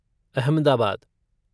Ahmedabad